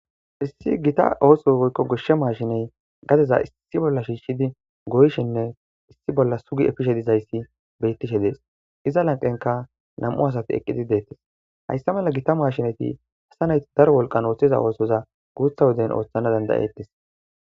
Issi gita ooso woykko goshshe maashiney gadeza issi bolla shiishidi goyshenne issi bolla sugi efishe dizayssi beyttishe dees iza lanqenka nam7u asati eqqidi deettes hayssa mala gita maashinati hasta nayti dar wolqan ooththiza oosoza guutha woden ooththana dandayettes.